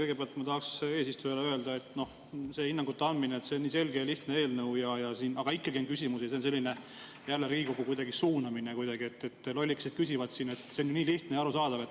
Kõigepealt ma tahaks eesistujale öelda, et selline hinnangute andmine, et see on nii selge ja lihtne eelnõu, aga ikkagi on küsimusi, on jälle kuidagi Riigikogu suunamine, et lollikesed küsivad siin, see on ju nii lihtne ja arusaadav.